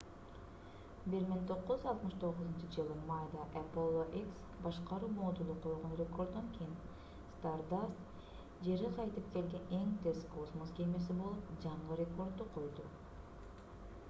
1969-ж майда apollo x башкаруу модулу койгон рекорддон кийин stardust жерге кайтып келген эң тез космос кемеси болуп жаңы рекордду койду